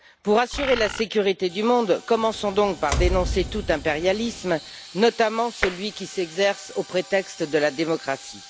Pour assurer la sécurité du monde, commençons donc par dénoncer tout impérialisme, notamment celui qui s'exerce sous prétexte de démocratie.